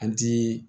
An ti